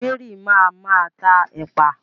Mary ma máa tá ẹ̀pà